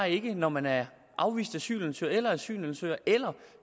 ikke når man er afvist asylansøger eller asylansøger eller